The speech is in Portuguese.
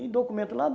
E documento lá?